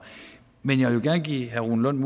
men jeg vil gerne give herre rune lund